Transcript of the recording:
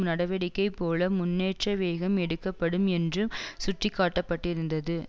நடவடிக்கை போல முன்னேற்ற வேகம் எடுக்கப்படும் என்று சுட்டிக்காட்டப்பட்டிருந்தது